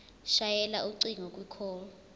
shayela ucingo kwicall